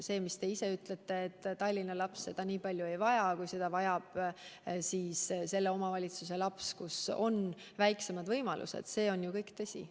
See aga, mis te ütlesite selle kohta, et Tallinna laps seda nii palju ei vaja kui mõne sellise omavalitsuse laps, kus on väiksemad võimalused, on kõik tõsi.